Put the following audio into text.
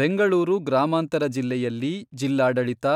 ಬೆಂಗಳೂರು ಗ್ರಾಮಾಂತರ ಜಿಲ್ಲೆಯಲ್ಲಿ ಜಿಲ್ಲಾಡಳಿತ,